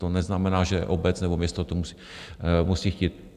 To neznamená, že obec nebo město to musí chtít.